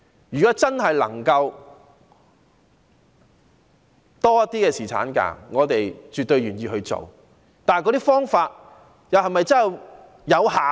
如果真的能夠爭取更多侍產假，我們是絕對願意做的，但所採取的方法能否奏效？